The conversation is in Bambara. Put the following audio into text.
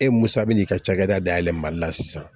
E musa bɛ n'i ka cakɛda dayɛlɛ mali la sisan